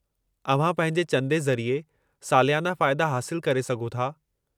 अव्हां पंहिंजे चंदे ज़रिए सालियाना फ़ाइदा हासिलु करे सघो था।